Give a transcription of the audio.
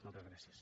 moltes gràcies